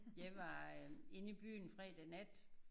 Jeg var øh inde i byen fredag nat